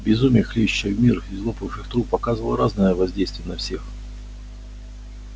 безумие хлещущее в мир из лопнувших труб оказывало разное воздействие на всех